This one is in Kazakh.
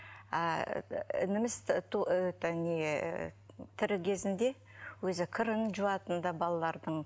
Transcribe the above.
ааа ініміз тоо это не тірі кезінде өзі кірін жуатын ды балалардың